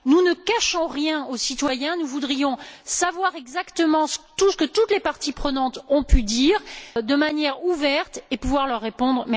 Nous ne cachons rien aux citoyens, nous voudrions savoir exactement ce que toutes les parties prenantes ont pu dire de manière ouverte et pouvoir leur répondre.